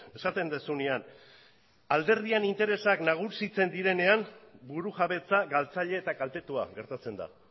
esaten duzunean alderdiaren interesak nagusitzen direnean burujabetza galtzaile eta kaltetua gertatzen da